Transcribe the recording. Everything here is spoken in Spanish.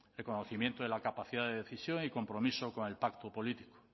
reconocimiento de la capacidad de decisión y compromiso con el pacto político